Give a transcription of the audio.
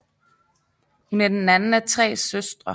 Hun er den anden af tre søstre